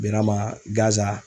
Berama Gaza